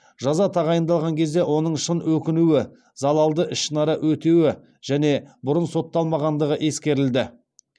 жаза тағайындалған кезде оның шын өкінуі залалды ішінара өтеуі және бұрын сотталмағандығы ескерілді